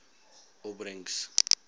opbrengs